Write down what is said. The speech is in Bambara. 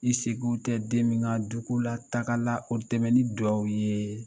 I sego tɛ den min ka dugu la taaga la, o dɛmɛ nin dugawu ye